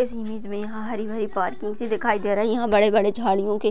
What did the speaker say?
इस इमेज मे हमे हरी भरी पार्किंग सी दिखाई दे रही है यहा बड़े बड़े झड़ियोके